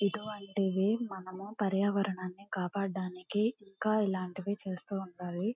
ఇటువంటివి మనము పర్యావరణాన్ని కాపాడడానికి ఇంకా ఇలాంటివి చేస్తూ ఉండాలి.